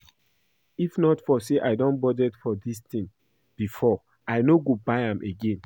If not for say I don budget for dis thing before I no go buy am again